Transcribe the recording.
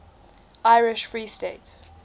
irish free state